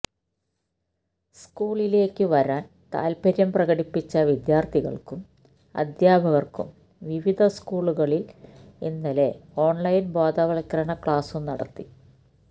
സ്കൂളിലേക്കു വരാന് താല്പര്യം പ്രകടിപ്പിച്ച വിദ്യാര്ഥികള്ക്കും അധ്യാപകര്ക്കും വിവിധ സ്കൂളുകളില് ഇന്നലെ ഓണ്ലൈന് ബോധവത്കരണ ക്ലാസും നടത്തി